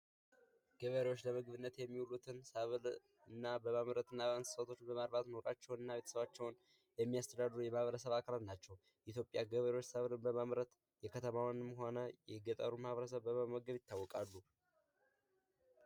ገበሬወች ለምግብነት የሚዉሉትን በማምረት እና እንስሳቶችን በማራባት ንሯቸዉን እና ቤተሰባቸዉን የሚያስተዳድሩ የማህበረሰብ አካላት ናቸዉ። የኢትዮጵያ ገበሬወች ሰብልን በማምረት የከተማዉንም ሆነ የገጠሩን ማህበረሰብ በመመገብ ይታወቃሉ።